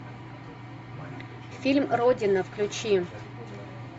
фильм родина включи